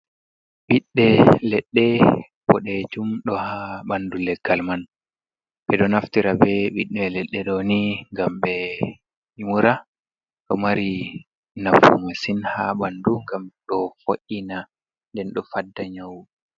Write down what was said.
Ɓiɗɗe leɗɗe bodejum do ha ɓandu leggal man. ɓedo naftira be biɗɗe leɗɗe ɗo ni ngam ɓe mura. Ɗo mari nafu masin ha ɓandu ngam ɗo vo’ina nden ɗo fadda nyawuji.